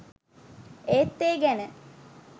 ඒත් ඒ ගැන